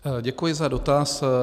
Děkuji za dotaz.